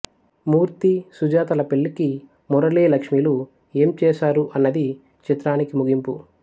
మూర్తి సుజాతల పెళ్ళికి మురళి లక్ష్మిలు ఏం చేశారు అన్నది చిత్రానికి ముగింపు